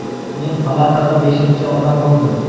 Men palatada beshinchi odam bo‘ldim.